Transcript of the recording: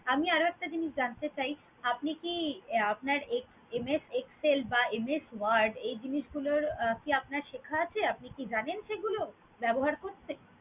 আমি আরও একটা জিনিস জানতে চাই, আপনি কি আহ আপনার এক্স~ MS excel বা MS word এ জিনিসগুলোর কি আপনার শেখা আছে? আপনি কি জানেন সেগুলো? ব্যবহার হয়েছে?